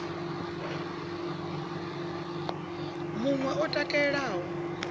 mun we o takalaho a